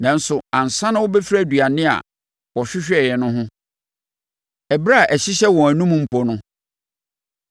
Nanso ansa na wɔbɛfiri aduane a wɔhwehwɛeɛ no ho, ɛberɛ a ɛhyehyɛ wɔn anomu mpo no,